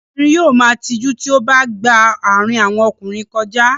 Obìnrin yóò ma tijú tí ó bá gba àárín àwọn ọkùnrin kọjá.